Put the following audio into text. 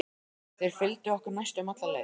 Þeir fylgdu okkur næstum alla leið.